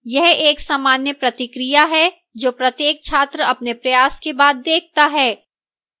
यह एक सामान्य प्रतिक्रिया है जो प्रत्येक छात्र अपने प्रयास के बाद देखता है